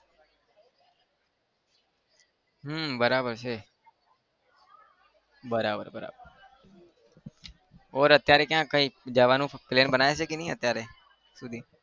હમ બરાબર છે બરાબર બરાબર और અત્યારે ક્યાં કઈ જવાનો plan બનાવ્યો છે ક નહિ અત્યારે?